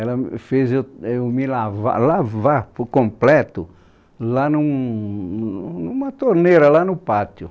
Ela me fez eu eu me lavar, lavar por completo, lá num... uma torneira, lá no pátio.